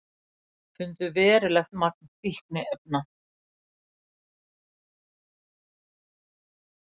Fundu verulegt magn fíkniefna